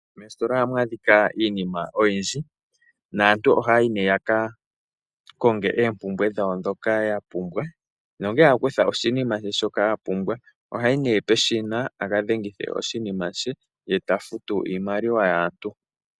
Moositola ohamu adhika iinima oyindji naantu ohayayi ne yakakonge oompumbwe dhawo dhoka yapumbwa, na ngele akutha shoka apumbwa ohayi peshina eta dhengithe oshinima she ye tafutu iimaliwa yaantu.